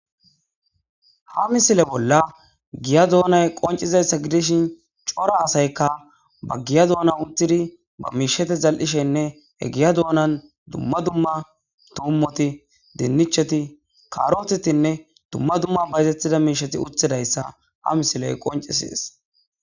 Ha misile bolla giya doonay qonccizayssa gidishin cora asaykka ba giya doonan uththidi ba miishshatha zal7ishenne he giya doonan dumma dumma thuummothi,dinnichethi,kaaroothethinne dumma duma bayzeththida miishshathi uththidayssa ha misilee qonccissees.